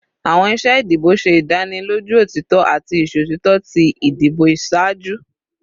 Awọn iṣe idibo ṣe idaniloju otitọ ati iṣotitọ ti idibo iṣaaju